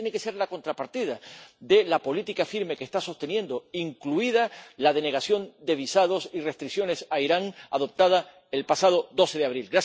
Esa tiene que ser la contrapartida de la política firme que está sosteniendo, incluidas la denegación de visados y restricciones a Irán adoptadas el pasado 12 de abril.